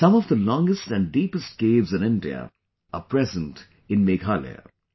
Some of the longest and deepest caves in India are present in Meghalaya